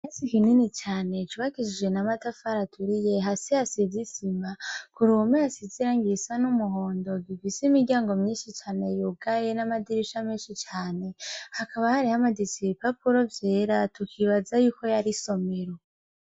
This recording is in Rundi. Ikirasi kinini cane cubakishije n'amatafari aturiye hasi hasize isima ku ruhome hasize irangi risa n'umuhondo gifise imiryango myinshi cane yugaye n'amadirisha menshi cane, hakaba hari hamaditse ibipapuro vyera tukibaza yuko yari isomero.